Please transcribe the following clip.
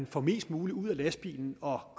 få mest muligt ud af lastbilen og at